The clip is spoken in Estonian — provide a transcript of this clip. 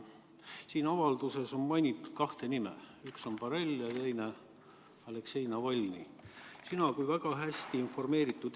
Siin avalduses on mainitud kahte nime: üks on Josep Borrell ja teine Aleksei Navalnõi.